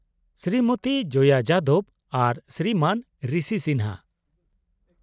-ᱥᱨᱤᱢᱚᱛᱤ ᱡᱚᱭᱟ ᱡᱟᱫᱚᱵ ᱟᱨ ᱥᱨᱤᱢᱟᱱ ᱨᱤᱥᱤ ᱥᱤᱱᱦᱟ ᱾